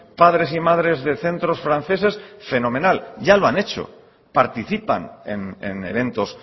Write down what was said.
padres y madres de centros franceses fenomenal ya lo han hecho participan en eventos